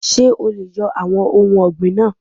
Ṣé o leè yo àwon ohun ògbìn náà